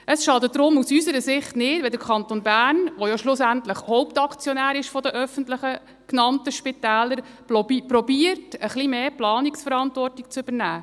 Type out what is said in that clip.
Es schadet deshalb aus unserer Sicht nicht, wenn der Kanton Bern, der ja schlussendlich Hauptaktionär der öffentlichen, genannten Spitäler ist, versucht, ein bisschen mehr Planungsverantwortung zu übernehmen.